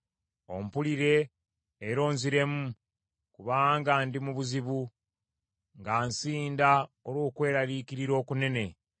Ompulire era onziremu, kubanga ndi mu buzibu, nga nsinda olw’okweraliikirira okunene.